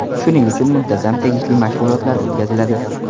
Shuning uchun muntazam tegishli mashg‘ulotlar o‘tkaziladi.